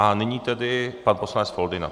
A nyní tedy pan poslanec Foldyna.